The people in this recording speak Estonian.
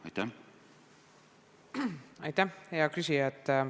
Aitäh, hea küsija!